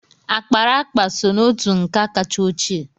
Akparaakpa so n'otú nka kacha ochie.